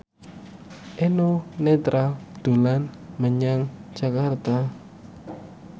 Eno Netral dolan menyang Jakarta